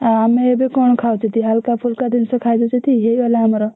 ଆଁ ଆମେ ଏବେ କଣ ଖାଉଛତି ହଲ୍କା ଫୁଲ୍କା ଜିନଷ ଖାଉଦଉଚତି ହେଇଗଲା ଆମର।